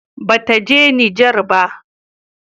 Ba ta je Nijar ba